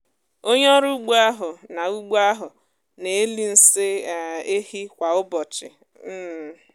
onye ọrụ ụgbọ áhù nà ụgbọ áhù nà elì nsị um ehi kwa ụbọchị um